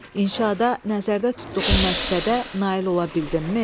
İnşada nəzərdə tutduğum məqsədə nail ola bildimmi?